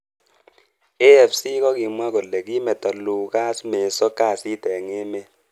AFC kokimwa kole kimeto Lucas Meso kasit eng emet.